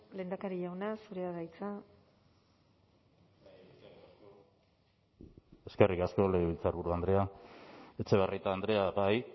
lehendakari jauna zurea da hitza eskerrik asko legebiltzarburu andrea etxebarrieta andrea bai